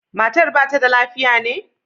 Matar ba ta da lafiya ne?